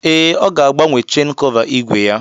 Ee, ọ ga agbanwe chen kọva igwe ya